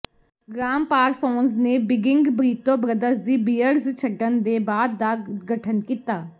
gram Parsons ਨੇ ਬਿਗਿੰਗ Burrito Brothers ਦੀ ਬਿਅਰਡਜ਼ ਛੱਡਣ ਦੇ ਬਾਅਦ ਦਾ ਗਠਨ ਕੀਤਾ